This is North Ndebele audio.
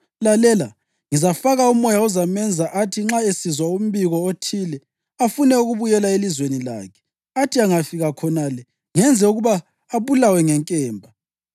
Lalela! Ngizafaka umoya ozamenza athi nxa esizwa umbiko othile, afune ukubuyela elizweni lakhe, athi angafika khonale ngenze ukuba abulawe ngenkemba.’ ”